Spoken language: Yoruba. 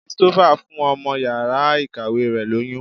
Christopher fún ọmọ yàrá ìkàwé rẹ̀ lóyún.